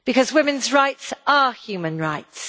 Women's rights are human rights.